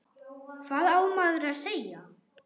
Hvað á maður að segja?